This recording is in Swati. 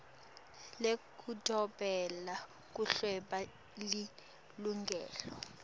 yekudobela kuhweba lilungelo